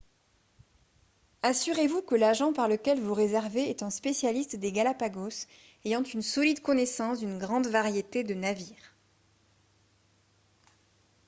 assurez-vous que l'agent par lequel vous réservez est un spécialiste des galapagos ayant une solide connaissance d'une grande variété de navires